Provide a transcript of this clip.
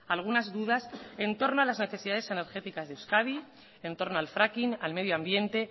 algunas dudas entorno a las necesidades energéticas de euskadi en torno al fracking al medioambiente